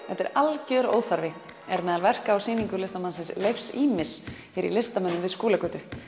þetta er algjör óþarfi er meðal verka á sýningu listamannsins Leifs ýmis hér í listamönnum við Skúlagötu